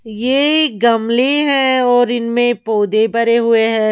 ये गमले हैं और इनमें पौधे भरे हुए हैं।